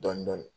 Dɔɔnin dɔɔnin